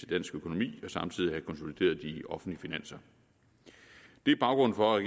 dansk økonomi og samtidig konsolideret de offentlige finanser det er baggrunden for at